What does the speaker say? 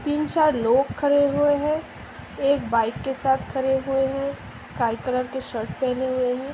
तीन चार लोग खड़े हुए हैं । एक बाइक के साथ खड़े हुए हैं स्‍काई कलर की शर्ट पहने हुए हैं ।